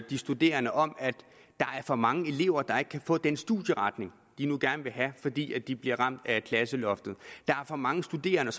de studerende om at der er for mange elever der ikke kan få den studieretning de gerne vil have fordi de bliver ramt af klasseloftet der er for mange studerende